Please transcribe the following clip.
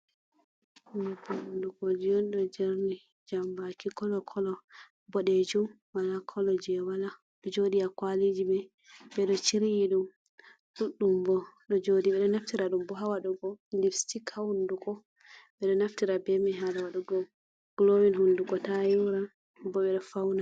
Nyebbam hundugoji on! do jerni jambaki kalo kalo, bodeju, wala kolo je wala. Jodi a kwalijimai bedo chiriyi dum duddum bo ɗo jodi. Bedo naftira dum bo hawadugo lippsitik ha hunduko. Be do naftira bemai hala wadugo gulowin hunduko ta yoora bo be do fauna.